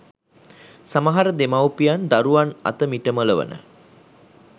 සමහර දෙමව්පියන් දරුවන් අත මිටමොලවන